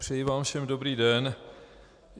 Přeji vám všem dobrý den.